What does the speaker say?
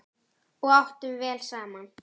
Og við áttum vel saman.